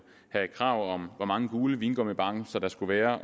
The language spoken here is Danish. være krav hvor mange gule vingummibamser der skulle være